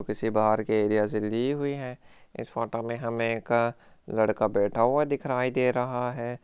किसी बाहर के एरिया से ली गई है इस फोटो में हमें एक लड़का बैठा हुआ दिखाराई दे रहा है।